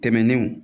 Tɛmɛnenw